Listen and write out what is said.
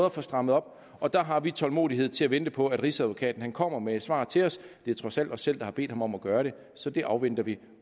at få strammet op og der har vi tålmodighed til at vente på at rigsadvokaten kommer med et svar til os det er trods alt os selv der har bedt ham om at gøre det så det afventer vi